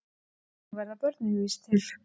Og þannig verða börnin víst til.